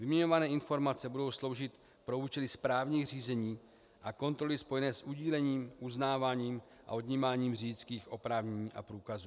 Vyměňované informace budou sloužit pro účely správních řízení a kontroly spojené s udílením, uznáváním a odnímáním řidičských oprávnění a průkazů.